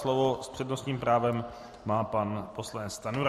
Slovo s přednostním právem má pan poslanec Stanjura.